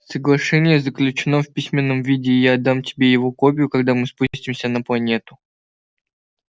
соглашение заключено в письменном виде и я отдам тебе его копию когда мы спустимся на планету